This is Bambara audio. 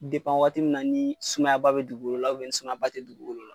wagati min na ni sumayaba bɛ dugukolo la, ni sumayaba tɛ dugukolo la.